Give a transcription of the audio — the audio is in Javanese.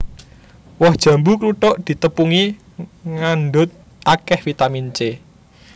Woh jambu kluthuk ditepungi ngandhut akèh vitamin C